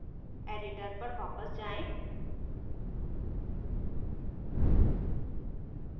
editor पर वापस जाएँ